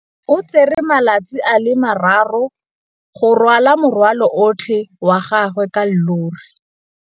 O tsere malatsi a le marraro go rwala morwalo otlhe wa gagwe ka llori.